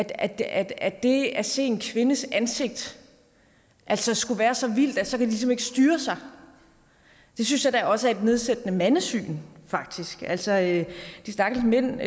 at at det at se en kvindes ansigt skulle være så vildt at så kan de ligesom ikke styre sig det synes jeg da også er et nedsættende mandesyn faktisk altså at de stakkels mænd